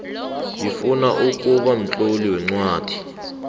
ngifuna ukuba mtloli weencwadi